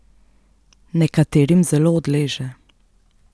Nekaterim zelo odleže.